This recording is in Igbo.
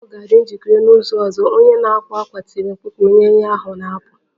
Uwe ahụ ga-adị njikere n'izu ọzọ! Onye na-akwa akwa tiri mkpu ka onye ahịa ahụ na-apụ